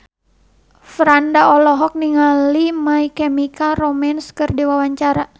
Franda olohok ningali My Chemical Romance keur diwawancara